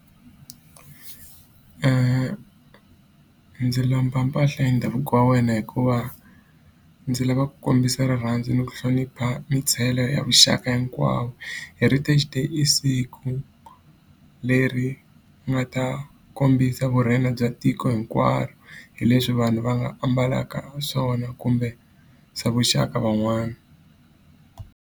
Ndzi lomba mpahla ya ndhavuko wa wena hikuva ndzi lava ku kombisa rirhandzu ni ku hlonipha ya vuxaka hinkwawo. Heritage Day i siku leri nga ta kombisa vurhena bya tiko hinkwaro, hi leswi vanhu va nga ambalaka swona kumbe swa vuxaka van'wana.